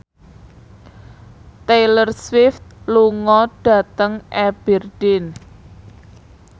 Taylor Swift lunga dhateng Aberdeen